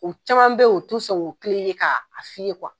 U caman be yen u ti sɔn k'u kilen ye, ka a fi ye